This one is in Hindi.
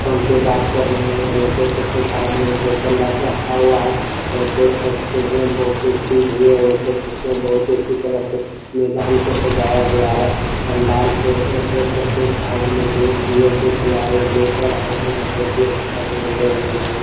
फ़ोन पे बात कर रहे है और देख सकते है साइड में एक बोतल र रखा हुआ है और देख सकते है वो कुर्सी भी है ये देख सकते है बहुत ही अच्छी तरह से मैदान को सजाया गया है पंडाल से और देख सकते है एक साइड में बैग भी है जो की खिलाड़ी लेकर आए है बहुत ही अच्छा है ये बैग वाला।